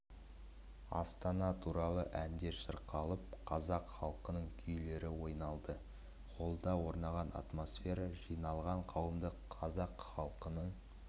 астана туралы әндер шырқалып қазақ халқының күйлері ойналды холлда орнаған атмосфера жиналған қауымды қазақ халқының